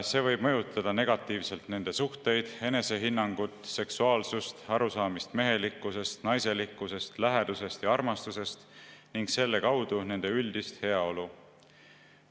See võib mõjutada negatiivselt nende suhteid, enesehinnangut, seksuaalsust, arusaamist mehelikkusest, naiselikkusest, lähedusest ja armastusest ning selle kaudu nende üldist heaolu.